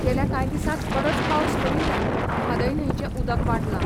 गेल्या कांय दिसांत बरोच पावस पडिल्ल्यान म्हादय न्हंयचें उदक वाडलां.